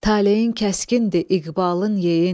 Talehin kəskindir, iqbalın yeyin.